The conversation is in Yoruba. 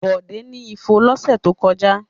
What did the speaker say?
Bọ̀dé ni ifo lọ́sẹ̀ tó kọjá.